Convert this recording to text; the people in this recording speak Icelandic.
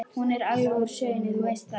Hún er alveg úr sögunni, þú veist það.